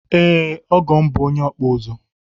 Ee, ọgọ m bụ onye ọkpụ ụzụ